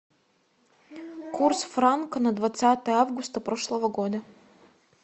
курс франка на двадцатое августа прошлого года